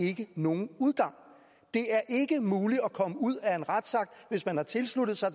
ikke nogen udgang det er ikke muligt at komme ud af en retsakt hvis man har tilsluttet sig